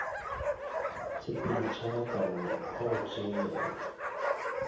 tshepelo tšharakano ya go tšeelelwa